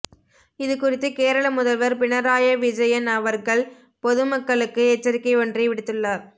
இதுகுறித்து கேரள முதல்வர் பினராய் விஜயன் அவர்கள் பொதுமக்களுக்கு எச்சரிக்கை ஒன்றை விடுத்துள்ளார்